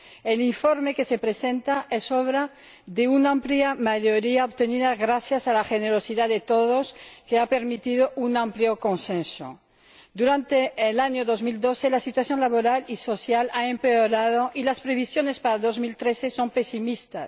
El informe que se presenta es obra de una amplia mayoría obtenida gracias a la generosidad de todos, lo que ha permitido un amplio consenso. Durante el año 2012 la situación laboral y social ha empeorado y las previsiones para 2013 son pesimistas.